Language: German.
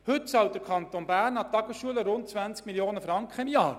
Heute zahlt der Kanton Bern den Tagesschulen rund 20 Mio. Franken im Jahr.